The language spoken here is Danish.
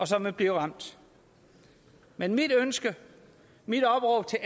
som vil blive ramt men mit ønske mit opråb til